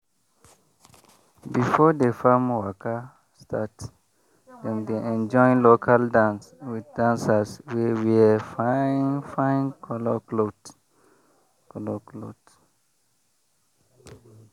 before the farm waka start dem dey enjoy local dance with dancers wey wear fine fine colour cloth. colour cloth.